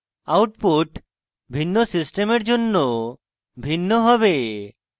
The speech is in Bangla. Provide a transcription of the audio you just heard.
output ভিন্ন সিস্টেমের জন্য ভিন্ন হবে